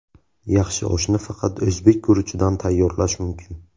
Yaxshi oshni faqat o‘zbek guruchidan tayyorlash mumkin.